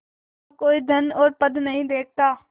यहाँ कोई धन और पद नहीं देखता